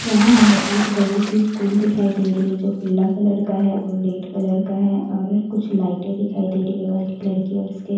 यहाँ हमें एक बड़ी सी स्कूल दिखाई दे रही है जो पीला कलर का है और रेड कलर का है और कुछ लाइटें दिखाई दे रही है वाइट कलर की और इसके --